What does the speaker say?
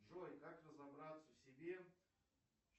джой как разобраться в себе